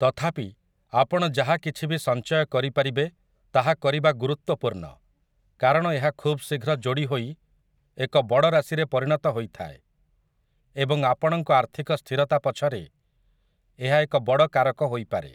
ତଥାପି, ଆପଣ ଯାହା କିଛି ବି ସଞ୍ଚୟ କରିପାରିବେ ତାହା କରିବା ଗୁରୁତ୍ୱପୂର୍ଣ୍ଣ, କାରଣ ଏହା ଖୁବ ଶୀଘ୍ର ଯୋଡ଼ି ହୋଇ ଏକ ବଡ଼ ରାଶିରେ ପରିଣତ ହୋଇଥାଏ, ଏବଂ ଆପଣଙ୍କ ଆର୍ଥିକ ସ୍ଥିରତା ପଛରେ ଏହା ଏକ ବଡ଼ କାରକ ହୋଇପାରେ ।